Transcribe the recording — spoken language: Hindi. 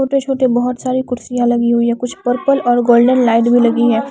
छोटे छोटे बहुत सारी कुर्सियां लगी हुई हैं कुछ पर्पल और गोल्डन लाइट भी लगी है।